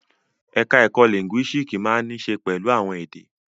Ẹ̀ka ẹ̀kó lìńgúísíìkì máa ń ní í ṣe pẹ̀lú àwọn èdè.